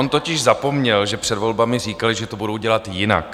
On totiž zapomněl, že před volbami říkali, že to budou dělat jinak.